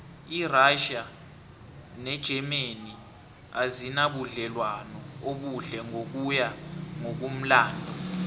irassia negermany azinabudlelwano obuhle ngokuya ngokumlando